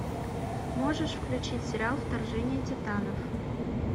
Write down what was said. можешь включить сериал вторжение титанов